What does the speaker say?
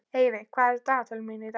Eyveig, hvað er á dagatalinu í dag?